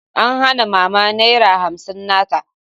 An hana Mama Naira hamsin na ta.